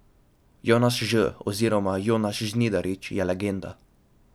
Jonas Ž oziroma Jonas Žnidaršič je legenda.